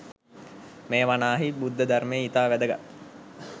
මෙය වනාහී බුද්ධ ධර්මයේ ඉතා වැදගත්